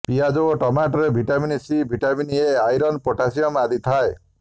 ପିଆଜ ଏବଂ ଟମାଟୋରେ vitamin C vitamin A iron potassium ଆଦି ଥାଏ